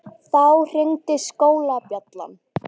Þá hringdi skólabjallan.